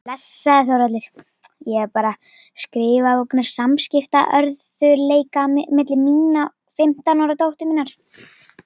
Blessaður Þórhallur, ég er að skrifa vegna samskiptaörðugleika milli mín og fimmtán ára dóttur minnar.